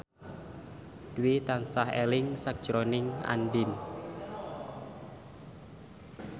Dwi tansah eling sakjroning Andien